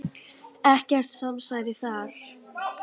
Ekkert samsæri þar.